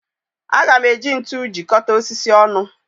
Aga m eji ntu jikọta osisi ọnụ